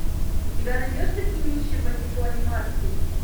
у тебя найдется кинище по типу анимации